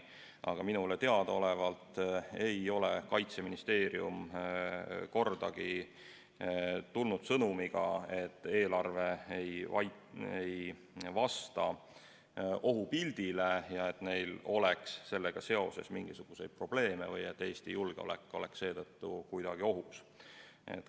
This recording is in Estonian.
Aga minule teadaolevalt ei ole Kaitseministeerium kordagi tulnud sõnumiga, et eelarve ei vasta ohupildile ja et neil oleks sellega seoses mingisuguseid probleeme või et Eesti julgeolek oleks seetõttu kuidagi ohus.